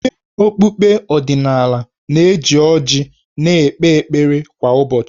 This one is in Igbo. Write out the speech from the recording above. Onye okpukpe ọdịnala na-eji ọjị na-ekpe ekpere kwa ụbọchị.